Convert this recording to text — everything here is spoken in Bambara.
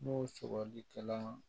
N'o sɔgɔlikɛla